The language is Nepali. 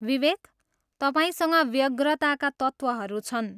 विवेक, तपाईँसँग व्यग्रताका तत्त्वहरू छन्।